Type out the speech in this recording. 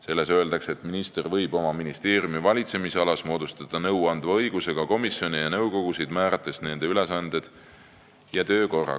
Selles öeldakse, et minister võib oma ministeeriumi valitsemisalas moodustada nõuandva õigusega komisjone ja nõukogusid, määrates nende ülesanded ja töökorra.